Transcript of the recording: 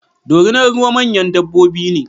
Dorinar ruwa manyan dabbobi ne